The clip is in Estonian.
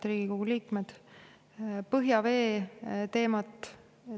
Head Riigikogu liikmed!